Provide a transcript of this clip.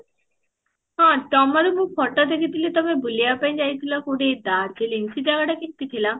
ହଁ, ତମର ମୁଁ photo ଦେଖି ଥିଲି ତମେ ବୁଲିବା ପାଇଁ ଯାଇଥିଲ କୋଉଠି darjeeling ସେ ଜାଗାଟା କେମତି ଥିଲା?